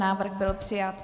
Návrh byl přijat.